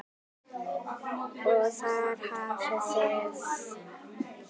Og þar hafið þið það!